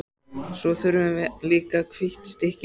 Svo þurfum við líka hvítt stykki.